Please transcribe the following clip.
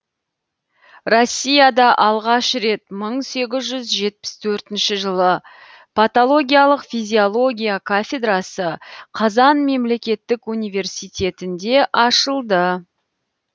россияда алғаш рет мың сегіз жүз жетпіс төртінші жылы патологиялық физиология кафедрасы қазан мемлекеттік университетінде ашылды